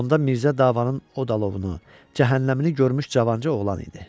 Onda Mirzə davanın o alovunu, cəhənnəmini görmüş cavanca oğlan idi.